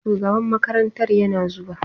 Shugaban makarantar yana zuwa.